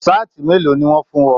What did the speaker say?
Saati mélòó ní wọn fún ọ?